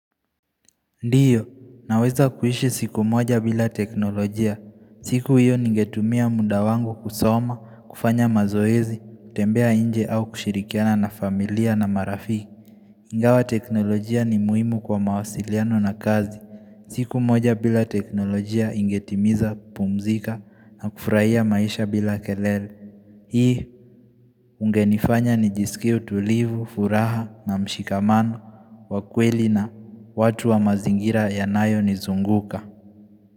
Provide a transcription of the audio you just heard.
Ndiyo, naweza kuishi siku moja bila teknolojia. Siku hiyo ningetumia mda wangu kusoma, kufanya mazoezi, kutembea inje au kushirikiana na familia na marafiki. Ingawa teknolojia ni muhimu kwa mawasiliano na kazi. Siku moja bila teknolojia ingetimiza, pumzika, na kufurahia maisha bila kelele. Hii unge nifanya ni jisikie tulivu, furaha na mshikamano, wakweli na watu wa mazingira ya nayo nizunguka.